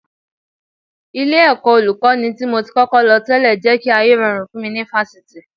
Ilé-ẹ̀kọ́ Olùkọ́ní tí mo ti kọ́kọ́ lọ tẹ́lẹ̀ jẹ́ kí ayé rọrùn fún mi ní Fáṣítì